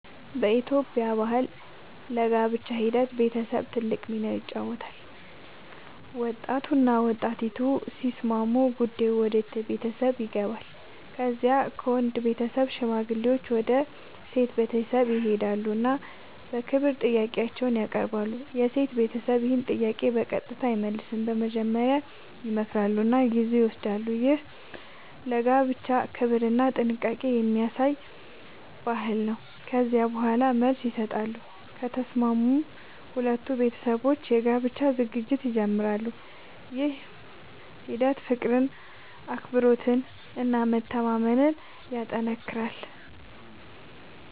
በኢትዮጵያ ባህል ለጋብቻ ሂደት ቤተሰብ ትልቅ ሚና ይጫወታል። ወጣቱና ወጣቲቱ ሲስማሙ ጉዳዩ ወደ ቤተሰብ ይገባል። ከዚያ ከወንድ ቤተሰብ ሽማግሌዎች ወደ ሴት ቤተሰብ ይሄዳሉ እና በክብር ጥያቄ ያቀርባሉ። የሴት ቤተሰብ ይህን ጥያቄ በቀጥታ አይመልስም፤ መጀመሪያ ይመክራሉ እና ጊዜ ይወስዳሉ። ይህ ለጋብቻ ክብርና ጥንቃቄ የሚያሳይ ባህል ነው። ከዚያ በኋላ መልስ ይሰጣሉ፤ ከተስማሙም ሁለቱ ቤተሰቦች የጋብቻ ዝግጅት ይጀምራሉ። ይህ ሂደት ፍቅርን፣ አክብሮትን እና መተማመንን ያጠናክራል።